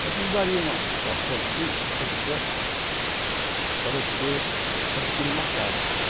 Só que eles dariam uma situação assim, uma condição, para você adquirir uma casa.